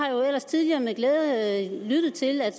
ellers tidligere med glæde lyttet til at